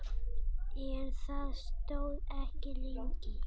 En það stóð ekki lengi.